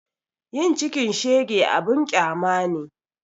Yin cikin shege abun ƙyama ne